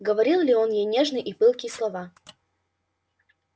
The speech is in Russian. говорил ли он ей нежные и пылкие слова